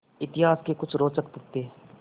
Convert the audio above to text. इतिहास के कुछ रोचक तथ्य